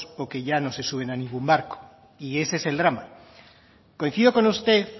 o que ya no se suben a ningún barco y ese es el drama